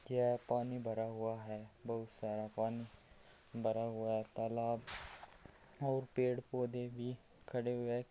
यह पानी भरा हुआ है बहोत सारा पानी भरा हुआ है तालाब और पेड़ पौधे भी खड़े हुए है।